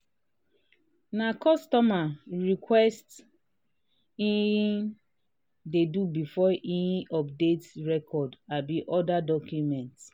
um na customer um request he um dey do before he update record abi other document.